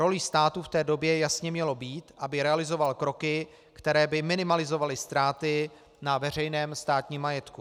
Rolí státu v té době jasně mělo být, aby realizoval kroky, které by minimalizovaly ztráty na veřejném státním majetku.